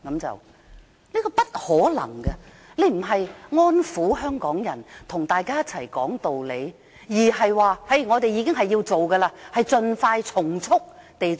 這是不可能的，她不是安撫香港人，跟大家一起說道理，而是說一定要做，更要盡快和從速地做。